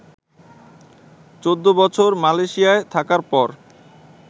চৌদ্দ বছর মালয়শিয়া থাকার পর